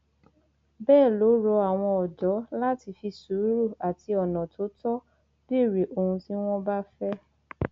bẹẹ ló rọ àwọn ọdọ láti fi sùúrù àti ọnà tó tọ béèrè ohun tí wọn bá fẹ